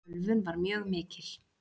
Ölvun var mjög mikil.